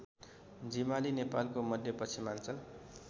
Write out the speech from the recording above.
जिमाली नेपालको मध्यपश्चिमाञ्चल